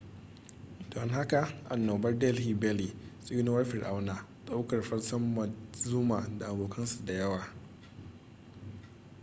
don haka annobar delhi belly tsinuwar fir'auna ɗaukar fansar montezuma da abokan su da yawa